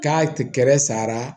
K'a kɛrɛ sara